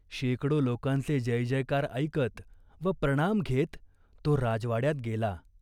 शेकडो लोकांचे जयजयकार ऐकत व प्रणाम घेत तो राजवाड्यात गेला.